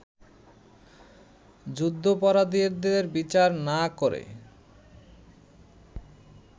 যুদ্ধাপরাধীদের বিচার না করে